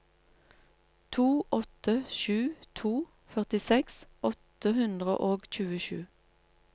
to åtte sju to førtiseks åtte hundre og tjuesju